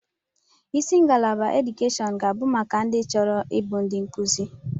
Isi ngalaba edukeshọn ga abụ maka ndị chọrọ ịbụ ndi nkuzi.